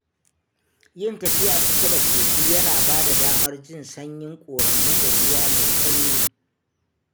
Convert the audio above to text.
Yin tafiya kusa da kogi yana ba da damar jin sanyin ƙoramu da ruwa mai sanyi